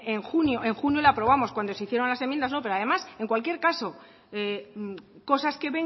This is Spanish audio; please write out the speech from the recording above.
en junio en junio la aprobamos cuando se hicieron las enmiendas no pero además en cualquier caso cosas que